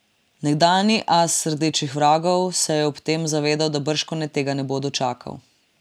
Nekdanji as rdečih vragov se je ob tem zavedal, da bržkone tega ne bo dočakal.